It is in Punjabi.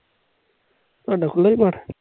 ਤੁਹਾਡਾਂ ਖੁੱਲ੍ਹਾ ਏ ?